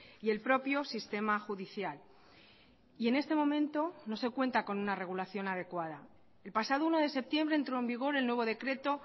y el propio sistema judicial y en este momento no se cuenta con una regulación adecuada el pasado uno de septiembre entró en vigor el nuevo decreto